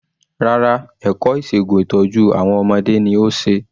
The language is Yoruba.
Rárá ẹ̀kọ́ ìṣègun ìtọ́jú àwọn ọmọdé ni ó ṣe.